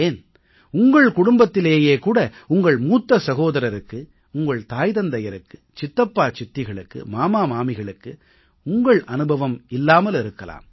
ஏன் உங்கள் குடும்பத்திலேயே கூட உங்கள் மூத்த சகோதரருக்கு உங்கள் தாய் தந்தையருக்கு சித்தப்பா சித்திகளுக்கு மாமா மாமிகளுக்கு உங்கள் அனுபவம் இல்லாமல் இருக்கலாம்